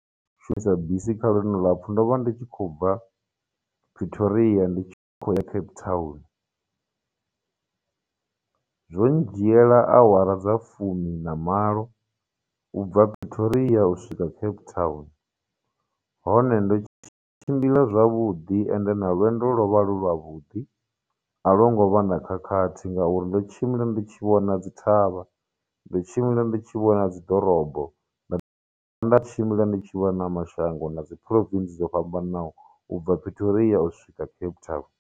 Shumisa bisi kha lwendo lulapfhu ndo vha ndi tshi khou bva Pretoria ndi tshi khou ya Cape Town, zwo ndzhiela awara dza fumi na malo ubva Pretoria u swika Cape Town, hone, ndo tshimbila zwavhuḓi ende na lwendo lwo vha lu lwa vhudi, a lwo ngo vha na khakhathi ngauri ndo tshimbila ndi tshi vhona dzithavha, ndo tshimbila ndi tshi vhona dziḓorobo nda nda tshimbila ndi tshi vhona na mashango, na dzi province dzo fhambananaho u bva Pretoria u swika Cape Town.